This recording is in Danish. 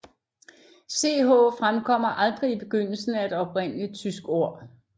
Ch fremkommer aldrig i begyndelsen af et oprindeligt tysk ord